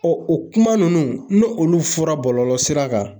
o kuma ninnu , n'olu fɔra bɔlɔlɔ sira kan.